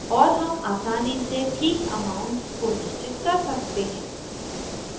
और हम आसानी से ठीक amount को निश्चित कर सकते हैं